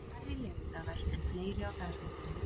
Færri legudagar en fleiri á dagdeildum